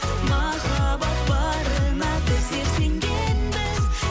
махаббат барына біздер сенгенбіз